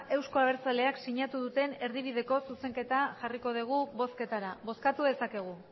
euzko abertzaleak sinatu duten erdibideko zuzenketa jarriko dugu bozketara bozkatu dezakegu